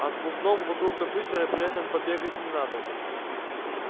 а с бубном вокруг компьютера при этом побегать не надо